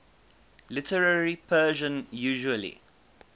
literary persian usually